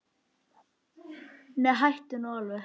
Nei, hættu nú alveg!